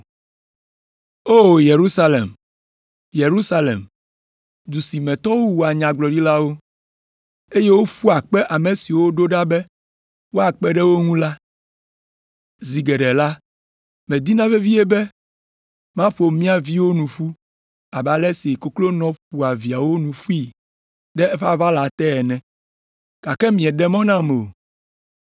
“O, Yerusalem, Yerusalem! Du si me tɔwo wua nyagblɔɖilawo, eye woƒua kpe ame siwo woɖo ɖa be woakpe ɖe wo ŋu la. Zi geɖe la, medina vevie bena maƒo mia viwo nu ƒu abe ale si koklonɔ ƒoa viawo nu ƒui ɖe eƒe aʋala te ene, gake mieɖe mɔ nam o.